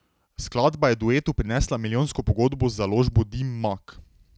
Skladba je duetu prinesla milijonsko pogodbo z založbo Dim Mak.